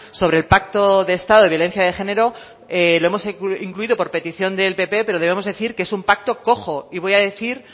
sobre el pacto de estado de violencia de género lo hemos incluido por petición del pp pero debemos decir que es un pacto cojo y voy a decir